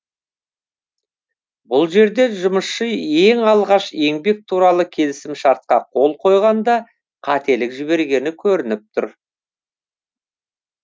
бұл жерде жұмысшы ең алғаш еңбек туралы келісімшартқа қол қойғанда қателік жібергені көрініп тұр